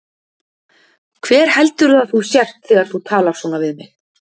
Hver heldurðu að þú sért þegar þú talar svona við mig?